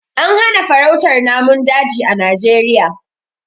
Ana hana farautar namun daji a Najeriya.